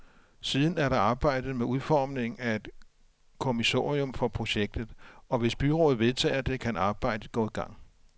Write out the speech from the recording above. Siden er der arbejdet med udformningen af et kommissorium for projektet, og hvis byrådet vedtager det, kan arbejdet gå i gang.